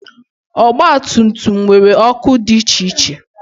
ọgba tum tum nwere ọkụ dị iche iche